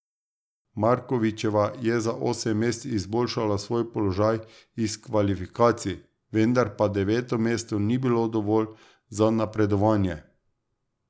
Markovičeva je za osem mest izboljšala svoj položaj iz kvalifikacij, vendar pa deveto mesto ni bilo dovolj za napredovanje.